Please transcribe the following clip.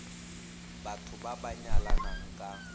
batho ba ba nyalanang ka